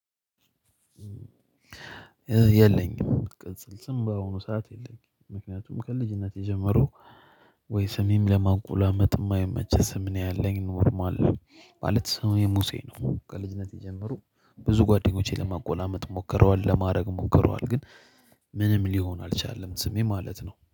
የለኝም ቅጽል ስም በአሁኑ ሰዓት የለኝም ምክንያቱም ከልጅነቴ ጀምሮ። ወይ ስሜም ለማንቆላመጥ እማይመች ስም ነው ያለኝ ኖርማል ነው። ማለት ስሜ ሙሴ ነው ከልጅነቴ የጀመሮ። ብዙ ጓደኞቼ ለማቆላመጥ ሞክረዋል ለማረግ ሞክረዋል ግን ምንም ሊሆን አልቻለም። ስሜ ማለት ነው